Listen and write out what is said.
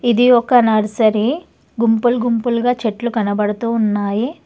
ఇది ఒక నర్సరీ గుంపులు గుంపులుగా చెట్లు కనబడుతూ ఉన్నాయి.